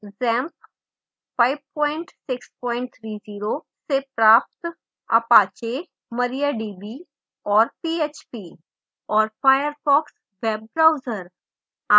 xampp 5630 से प्राप्त apache mariadb और php और firefox web browser